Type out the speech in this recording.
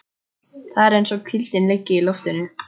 Það er eins og hvíldin liggi í loftinu.